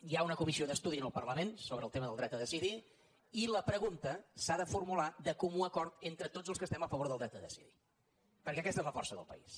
hi ha una comissió d’estudi al parlament sobre el tema del dret a decidir i la pregunta s’ha de formular de comú acord entre tots els que estem a favor del dret a decidir perquè aquesta és la força del país